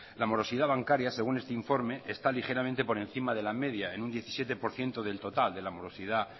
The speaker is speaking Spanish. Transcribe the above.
la morosidad bancaria según este informe está ligeramente por encima de la media en un diecisiete por ciento del total de la morosidad